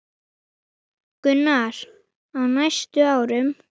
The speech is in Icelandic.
Gunnar: Á næstu árum?